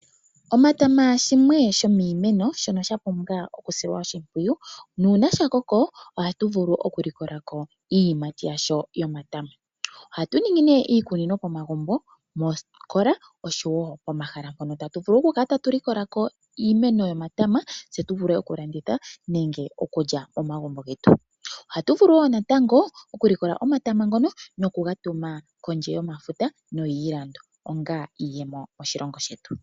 Omatama shimwe shomiimeno mbyono ya pumbwa okusilwa oshimpwiyu nuuna ga koko ohatu vulu okulikola ko iiyimati yago yomatama. Ohatu ningi nduno iikunino momagumbo, moosikola noshowo mahala mpono tatu vulu okukala tatu likola ko iiyimati yomatama tse tu vule okulanditha nenge okulya momagumbo getu. Ohatu vulu wo natango okulikola omatama ngoka nokuga tuma kondje yomafuta noyiilando, onga onzo yiiyemo moshilongo shetu.